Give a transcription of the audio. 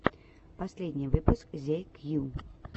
последний выпуск зе кью